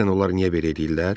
Bilirsən onlar niyə belə eləyirlər?